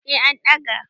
eh an ɗaga